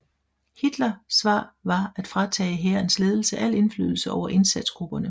Hitler svar var at fratage hærens ledelse al indflydelse over indsatsgrupperne